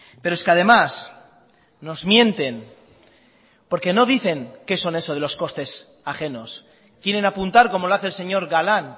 pero es que además nos mienten porque no dicen que son eso de los costes ajenos quieren apuntar como lo hace el señor galán